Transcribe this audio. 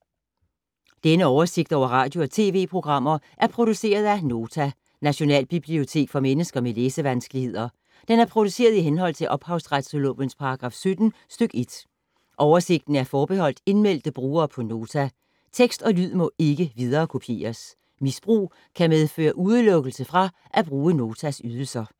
Denne oversigt over radio og TV-programmer er produceret af Nota, Nationalbibliotek for mennesker med læsevanskeligheder. Den er produceret i henhold til ophavsretslovens paragraf 17 stk. 1. Oversigten er forbeholdt indmeldte brugere på Nota. Tekst og lyd må ikke viderekopieres. Misbrug kan medføre udelukkelse fra at bruge Notas ydelser.